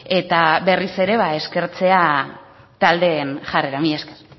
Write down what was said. eta berriz ere eskertzea taldeen jarrera mila esker